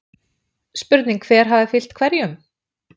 Spurning hver hafi fylgt hverjum??